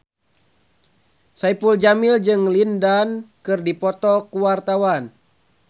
Saipul Jamil jeung Lin Dan keur dipoto ku wartawan